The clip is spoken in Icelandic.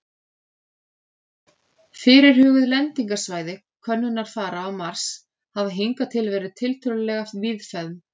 Fyrirhuguð lendingarsvæði könnunarfara á Mars hafa hingað til verið tiltölulega víðfeðm.